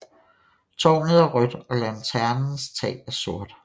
Tårnet er rødt og lanternens tag er sort